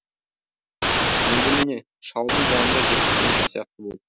енді міне шалдың жанында жүріп кемпір сияқты болдым